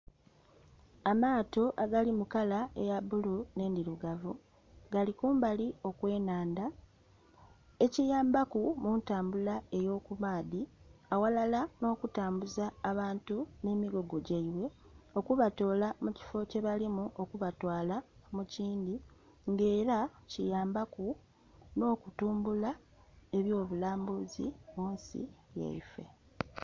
Amaato agali mukala eya bbulu n'endhirugavu gali kumbali okw'enhandha ekibambaku muntambula eyo kumaadhi aghalala n'okutambuza abantu n'emigugu gyaibwe okubatola mukifo kyebalimu okuba twaala mukindhi nga era kiyambaku n'okutumbula ebyo bulambuzi munsi yaife.